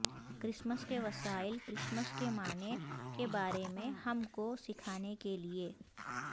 Christmas کے وسائل Christmas کے معنی کے بارے میں ہم کو سکھانے کے لئے